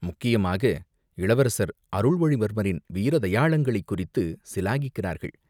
முக்கியமாக, இளவரசர் அருள்மொழிவர்மரின் வீர தயாளங்களைக் குறித்துச் சிலாகிக்குறார்கள்.